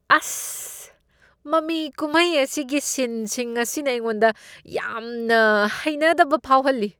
ꯑꯁ! ꯃꯃꯤ ꯀꯨꯝꯍꯩ ꯑꯁꯤꯒꯤ ꯁꯤꯟꯁꯤꯡ ꯑꯁꯤꯅ ꯑꯩꯉꯣꯟꯗ ꯌꯥꯝꯅ ꯍꯩꯅꯗꯕ ꯐꯥꯎꯍꯜꯂꯤ꯫